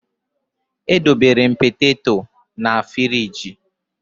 Edobere m poteto na ngwa na fịrij